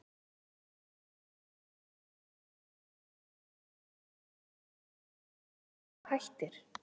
Erla Hlynsdóttir: Hvaða þýðingu hefur þetta fyrir spítalann ef allur þessi fjöldi hreinlega hættir?